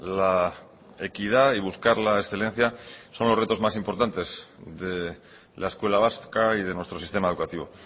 la equidad y buscar la excelencia son los retos más importantes de la escuela vasca y de nuestro sistema educativo